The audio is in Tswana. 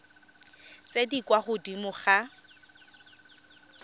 tse di kwa godimo ga